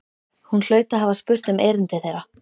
Hún hlaut að hafa spurt um erindi þeirra.